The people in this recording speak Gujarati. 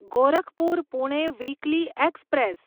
Gorakhpur Pune weekly express